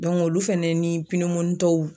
olu fɛnɛ ni